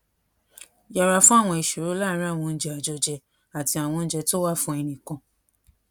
yẹra fún àwọn ìṣòro láàárín àwọn oúnjẹ àjọjẹ àti àwọn oúnjẹ tó wà fún ẹnìkan